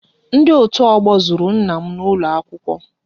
Ndị otu ọgbọ zuru nna m n'ụlọ akwụkwọ